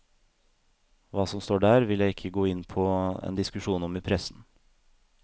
Hva som står der, vil jeg ikke gå inn på en diskusjon om i pressen.